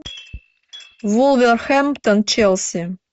вулверхэмптон челси